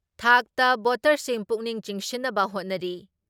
ꯊꯥꯛꯇ ꯚꯣꯠꯇꯔꯁꯤꯡ ꯄꯨꯛꯅꯤꯡ ꯆꯤꯡꯁꯤꯟꯅꯕ ꯍꯣꯠꯅꯔꯤ ꯫